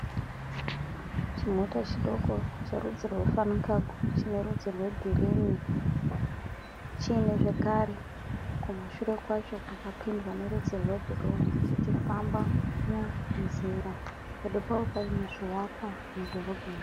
Chimota chidoko cherudzi rweFuncargo chine rudzi rwegirini. Chimwe zvekare kumashure kwacho kwakapendwa nerudzi rwebhuruu chichifamba munzira. Pedo pacho pane zvivakwa mudhorobheni.